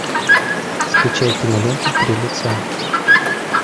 скачай киноленту три лица